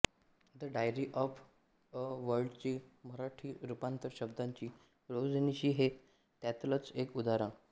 the diary of a word चं मराठी रुपांतर शब्दांची रोजनिशी हे त्यातलंच एक उदाहरण